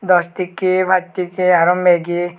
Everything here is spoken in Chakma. dos tekki paj tekki aro meggie.